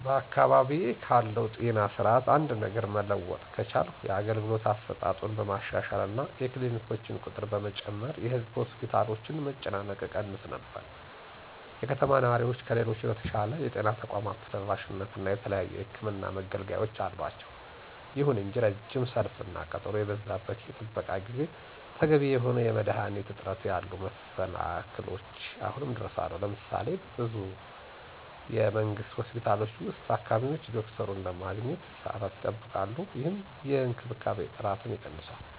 በአካባቢዬ ካለው ጤና ስርዓት አንድ ነገር መለወጥ ከቻልኩ የአገልግሎት አሰጣጡን በማሻሻል እና የክሊኒኮችን ቁጥር በመጨመር የህዝብ ሆስፒታሎችን መጨናነቅ እቀንስ ነበር። የከተማ ነዋሪዎች ከሌሎች በተሻለ የጤና ተቋም ተደራሽነት እና የተለያዩ የሕክምን መገልገያወች አላቸው። ይሁን እንጂ ረጅም ሰልፍ እና ቀጠሮ የበዛበት የጥበቃ ጊዜ፣ ተገቢ የሆኑ የመድኃኒት እጥረት ያሉ መሰላክሎች አሁንም ድረስ አሉ። ለምሳሌ:- በብዙ የመንግስት ሆስፒታሎች ውስጥ, ታካሚዎች ዶክተሩን ለማግኘት ለሰዓታት ይጠብቃሉ, ይህም የእንክብካቤ ጥራትን ይቀንሳል።